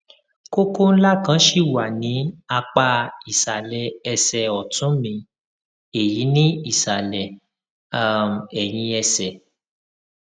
kókó ńlá kan ṣì wà ní apá ìsàlẹ ẹsẹ ọtún mi èyí ni ìsàlẹ um ẹyìn ẹsẹ